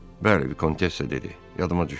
Bəli, vikontessa dedi, yadıma düşdü.